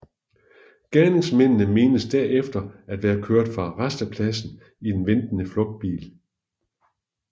Gerningsmændene menes derefter at være kørt fra rastepladsen i en ventende flugtbil